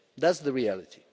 That's the reality.